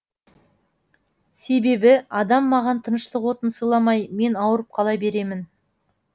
себебі адам маған тыныштық отын сыйламай мен ауырып қала беремін